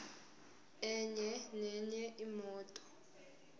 enye nenye imoto